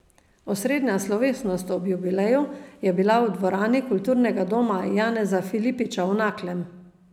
Osrednja slovesnost ob jubileju je bila v dvorani kulturnega doma Janeza Filipiča v Naklem.